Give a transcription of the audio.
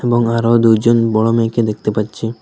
এবং আরও দু'জন বড় মেয়েকে দেখতে পাচ্ছি।